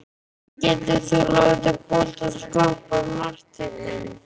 Hvernig getur þú látið boltann skoppa í markteignum?